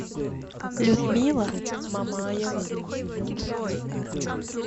людмила мамаева